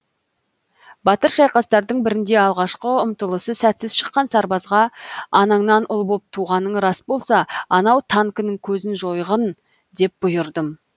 батыр шайқастардың бірінде алғашқы ұмтылысы сәтсіз шыққан сарбазға анаңнан ұл боп туғаның рас болса анау танкінің көзін жойғын деп бұйырдым